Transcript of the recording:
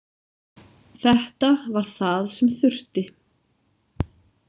Þetta var það sem þurfti.